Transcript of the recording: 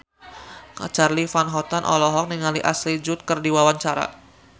Charly Van Houten olohok ningali Ashley Judd keur diwawancara